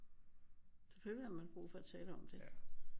Selvfølgelig har man brug for at tale om det